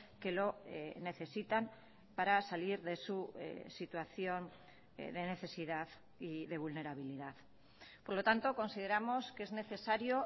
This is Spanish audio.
que lo necesitan para salir de su situación de necesidad y de vulnerabilidad por lo tanto consideramos que es necesario